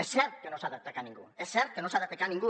és cert que no s’ha d’atacar ningú és cert que no s’ha d’atacar ningú